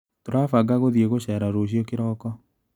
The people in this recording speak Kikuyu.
Tũrabanga gũthĩi gũcera rũciũ kĩroko.